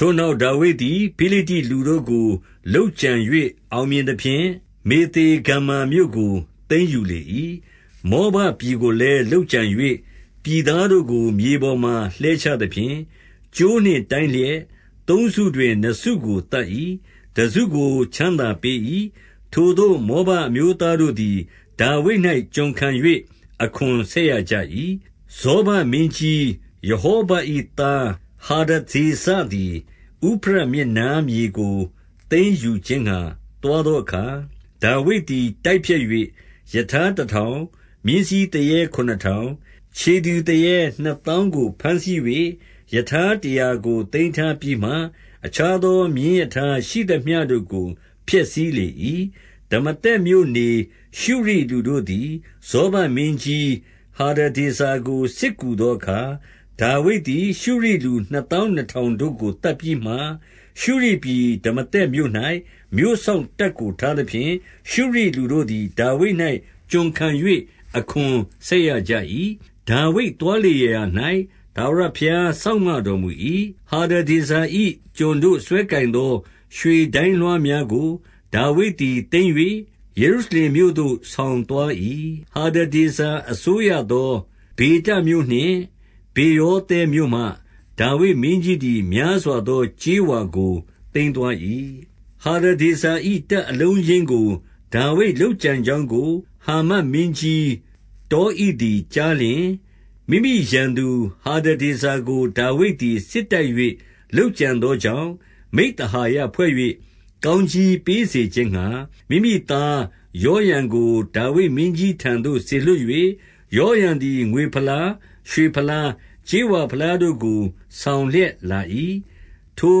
ထိုနောက်ဒါဝိဒ်သည် ဖိလိတ္တိလူတို့ကို လုပ်ကြံ၍ အောင်မြင်သဖြင့်၊ မေသေဂမ္မာမြို့ကို သိမ်းယူလေ၏။ 2 မောဘပြည်ကိုလည်းလုပ်ကြံ၍ ပြည်သားတို့ကို မြေပေါ်မှာ လှဲချသဖြင့်၊ ကြိုးနှင့်တိုင်းလျက် သုံးစုတွင် နှစ်စုကိုသတ်၏။ တစုကိုချမ်းသာပေး၏။ ထိုသို့မောဘ အမျိုးသားတို့သည် ဒါဝိဒ်၌ ကျွန်ခံ၍ အခွန်ဆက်ရကြ၏။ 3 ဇောဘမင်းကြီးရဟောဘ၏ သားဟာဒဒေဇာသည် ဥဖရတ်မြစ်နားမြေကိုသိမ်းယူခြင်းငှါ သွားသော အခါ၊ ဒါဝိဒ်သည် တိုက်ဖျက်၍၊ 4 ရထားတထောင်၊ မြင်းစီးသူရဲခုနစ်ထောင်၊ ခြေသည် သူရဲနှစ်သောင်းကို ဘမ်းဆီး၍ ရထားတရာတို့ကိုသိမ်းထားပြီးမှ၊ အခြားသောမြင်းရထားရှိုသမျှတို့ကို ဖျက်ဆီးလေ၏။ 5 ဒမာသက်မြို့နေ ရှုရိလူတို့သည် ဇောဘမင်းကြီး ဟာဒဒေဇာကို စစ်ကူသောအခါ၊ ဒါဝိဒ်သည် ရှုရိလူ နှစ်သောင်းနှစ်ထောင်တို့ကို သတ်ပြီးမှ၊ 6 ရှုရိပြည် ဒမာသက်မြို့၌ မြို့စောင့်တပ်ကို ထားသဖြင့်၊ ရှုရိလူတို့သည်ဒါဝိဒ်၌ ကျွန်ခံ၍ အခွန်ဆက်ရကြ၏။ ဒါဝိဒ်သွားလေရာရာ၌ ထာဝရဘုရား စောင့်မ တော်မူ၏။ 7 ဟာဒဒေဇာ၏ ကျွန်တို့စွဲကိုင်သော ရွှေဒိုင်းလွှားများကို ဒါဝိဒ်သည်သိမ်း၍ ယေရုရှလင်မြို့သို့ ဆောင် သွား၏။ 8 ဟာဒဒေဇာအစိုးရသော ဘေတမြို့နှင့် ဗေရောသဲမြို့မှ ဒါဝိဒ်မင်းကြီးသည် များစွာသောကြေးဝါကို သိမ်းသွား၏။ 9 ဟာဒဒေဇာ၏ တပ်အလုံးအရင်းကို ဒါဝိဒ် လုပ်ကြံကြောင်းကို၊ ဟာမတ်မင်းကြီးတောဣသည် ကြားလျှင်၊ 10 မိမိရန်သူဟာဒဒေဇာကို ဒါဝိဒ်သည် စစ်တိုက်၍ လုပ်ကြံသောကြောင့်၊ မိဿဟာယဖွဲ့၍ ကောင်းကြီး ပေးစေခြင်းငှါ၊ မိမိသားယောရံကို ဒါဝိဒ်မင်းကြီးထံသို့ စေလွှတ်၍၊ ယောရံသည် ငွေဖလား၊ ရွှေဖလား၊ ကြေးဝါ ဖလားတို့ကို ဆောင်လျက်လာ၏။ 11 ထို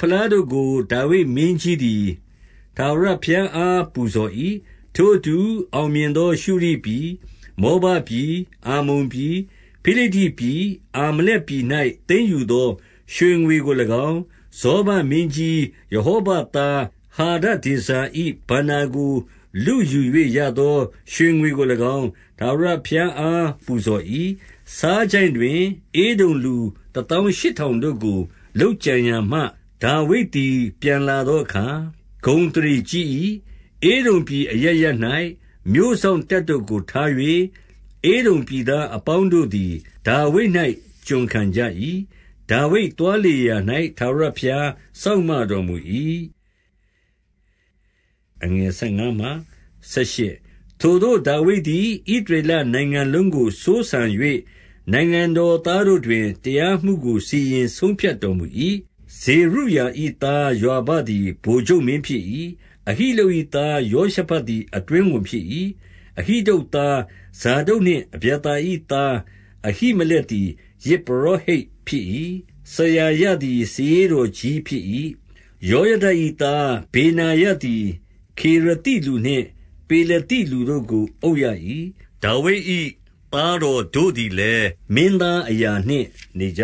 ဖလားတို့ကို ဒါဝိဒ်မင်းကြီးသည် ထာဝရဘုရားအား ပူဇော်၏။ ထိုအတူအောင်မြင်သောရှုရိပြည်၊ မောဘပြည်၊ အမ္မုန်ပြည်၊ ဖိလိတ္တိပြည်၊ အာမလက်ပြည်၌ သိမ်းယူသော ရွှေငွေကို၎င်း၊ 12 ဇောဘမင်းကြီး ရဟောဘသား ဟာဒဒေဇာ၏ ဘဏ္ဍာကို လုယူ၍ ရသောရွှေငွေကို၎င်း၊ ထာဝရဘုရား အား ပူဇော်၏။ 13 ဆားချိုင့်တွင် ဧဒုံလူတသောင်းရှစ်ထောင်တို့ကို လုပ်ကြံရာမှ၊ ဒါဝိဒ်သည် ပြန်လာသောအခါ ဂုဏ်အသရေ ကြီး၏။ 14 ဧဒုံပြည်အရပ်ရပ်၌ မြို့စောင့်တပ်တို့ကိုထား၍၊ ဧဒုံပြည်သားအပေါင်းတို့သည် ဒါဝိဒ်၌ ကျွန်ခံကြ၏။ ဒါဝိဒ်သွားလေရာရာ၌ ထာဝရဘုရား စောင့်မတော်မူ၏။ 15 ထိုသို့ ဒါဝိဒ်သည် ဣသရေလနိုင်ငံလုံးကို စိုးစံ၍၊ နိုင်ငံတော်သားတို့တွင် တရားမှုကို စီရင်ဆုံးဖြတ် တော်မူ၏။ 16 ဇေရုယာ၏သားယွာဘသည် ဗိုလ်ချုပ်မင်း ဖြစ်၏။ အဟိလုပ်၏ သားယောရှဖတ်သည် အတွင်းဝန် ဖြစ်၏။ 17 အဟိတုပ်သား ဇာဒုတ်နှင့် အဗျာသာ၏သား အဟိမလက်သည် ယဇ်ပုရောဟိတ်ဖြစ်၏။ စရာယသည် စာရေးတော်ကြီးဖြစ်၏။ 18 ယောယဒ၏သား ဗေနာယသည် ခေရသိလူနှင့် ပေလသိ လူတို့ကိုအုပ်ရ၏။ ဒါဝိဒ်၏သားတော်တို့ သည်လည်း မင်းသားအရာနှင့် နေကြ